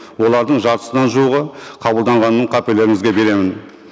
олардың жартысынан жуығы қабылданғанын қаперлеріңізге беремін